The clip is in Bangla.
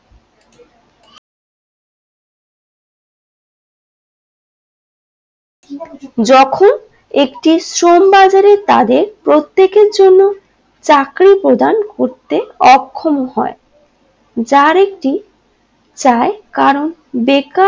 যখন একটি শ্রম বাজারে তাদের প্রত্যেকের জন্য চাকরী প্রদান করতে অক্ষম হয় যার একটি চায় কারণ বেকার